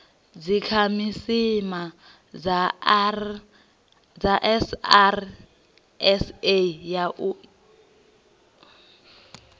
dzikhasiama dza srsa u ya